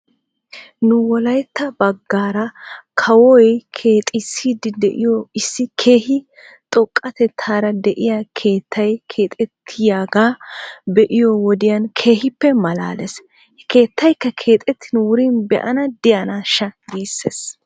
Nu wolaytta bagaara kawoy keexissiidi diyo issi keehi xoqqatetaara de'iyaa keettay keexettiyaaga be'iyoo wodiyan keehippe malaales. He keettaykka keexettidi wurin be'anae diyaanaasha giisses.